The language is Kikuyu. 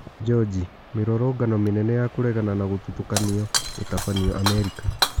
Joji: Mĩ rũrũngano mĩ nene ya kũregana na gũthutũkanio gũtabanio Amerika.